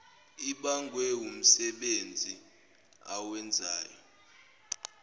ibangwe wumsebenzi awenzayo